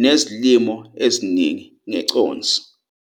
'nezilimo eziningi ngeconsi'.